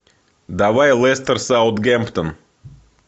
давай лестер саутгемптон